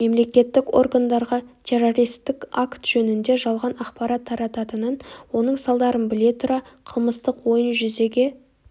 мемлекеттік органдарға террористік акт жөнінде жалған ақпарат тарататынын оның салдарын біле тұра қылмыстық ойын жүзеге